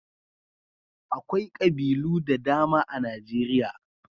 Akwai ƙabilu da dama a Najeriya.